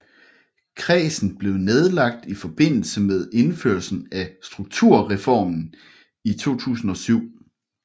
Kredsen blev nedlagt i forbindelse med indførelsen af Strukturreformen i 2007